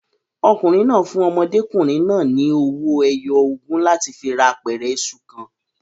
Ọkùnrin náà fún ọmọdékùnrin náà ni owó ẹyọ ogún láti fi ra apẹ̀rẹ̀ iṣu kan.